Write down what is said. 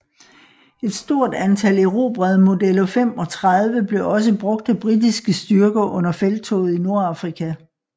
Et stort antal erobrede Modello 35 blev også brugt af britiske styrker under felttoget i Nordafrika